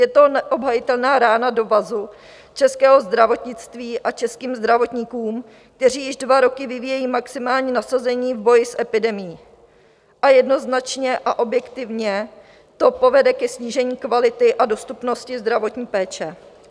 Je to neobhajitelná rána do vazu českého zdravotnictví a českým zdravotníkům, kteří již dva roky vyvíjejí maximální nasazení v boji s epidemií, a jednoznačně a objektivně to povede ke snížení kvality a dostupnosti zdravotní péče.